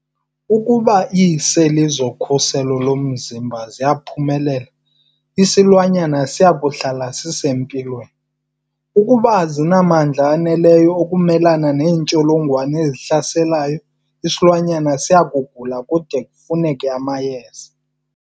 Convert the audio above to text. Ukuba iiseli zokhuselo lomzimba ziyaphumelela, isilwanyana siya kuhlala sisempilweni, ukuba azinamandla aneleyo okumelana neentsholongwane ezihlaselayo, isilwanyana siya kugula kude kufuneke amayeza.